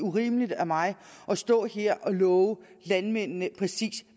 urimeligt af mig at stå her og love landmændene præcis